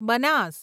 Banas